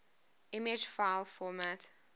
image file format